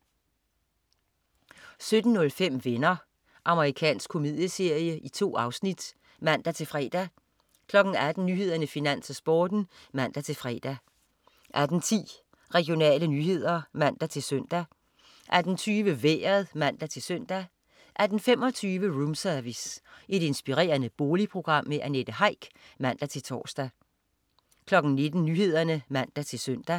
17.05 Venner. Amerikansk komedieserie. 2 afsnit (man-fre) 18.00 Nyhederne, Finans, Sporten (man-fre) 18.10 Regionale nyheder (man-søn) 18.20 Vejret (man-søn) 18.25 Roomservice. Inspirerende boligprogram. Annette Heick (man-tors) 19.00 Nyhederne (man-søn)